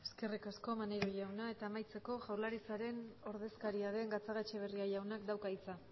eskerrik asko maneiro jauna eta amaitzeko jaurlaritzaren ordezkaria den gatzagaetxebarria jaunak dauka hitza